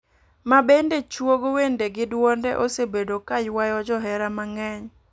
mabende chuogo wende gi dwonde osebedo ka ywayo jo hera ne mangeny.